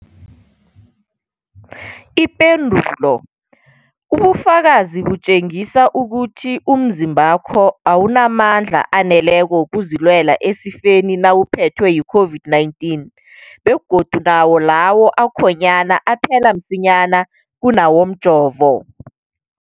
Ipendulo, ubufakazi butjengisa ukuthi umzimbakho awunamandla aneleko wokuzilwela esifeni nawuphethwe yi-COVID-19, begodu nawo lawo akhonyana aphela msinyana kunawomjovo.